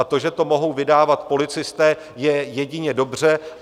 A to, že to mohou vydávat policisté, je jedině dobře.